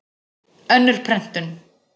Önnur prentun.